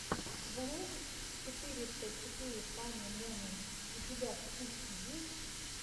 влог четыреста четыре фани моментс у тебя в списке есть